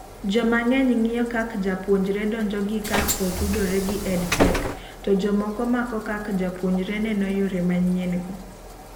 jomangeny ngiyo kak japuonjre donjo gi kak otudore gi EDTech, to jomoko mako kak japuonjre neno yore manyien go